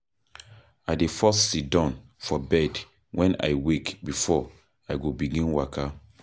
I dey first siddon for bed wen I wake before I go begin waka.